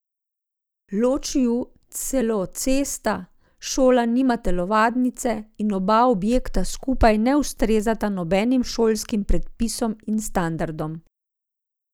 Loči ju celo cesta, šola nima telovadnice in oba objekta skupaj ne ustrezata nobenim šolskim predpisom in standardom.